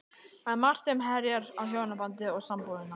Það er margt sem herjar á hjónabandið og sambúðina.